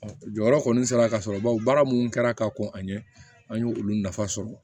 Jɔyɔrɔ kɔni sera ka sɔrɔ bawo baara minnu kɛra ka kɔn ka ɲɛ an ye olu nafa sɔrɔ